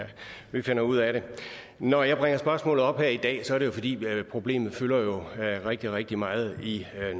vi finder ud af det når jeg bringer spørgsmålet op her i dag er det fordi problemet jo fylder rigtig rigtig meget i